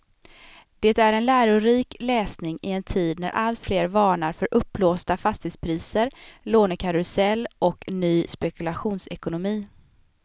Det är en lärorik läsning i en tid när alltfler varnar för uppblåsta fastighetspriser, lånekarusell och ny spekulationsekonomi.